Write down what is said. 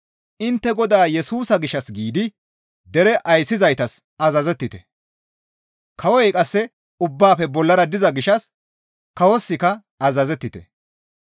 Intte Godaa Yesusa gishshas giidi dere ayssizaytas azazettite. Kawoy qasse ubbaafe bollara diza gishshas kawosikka azazettite.